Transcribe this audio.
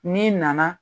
N'i nana